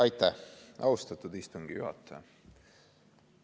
Aitäh, austatud istungi juhataja!